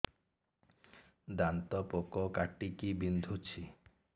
ଦାନ୍ତ ପୋକ କାଟିକି ବିନ୍ଧୁଛି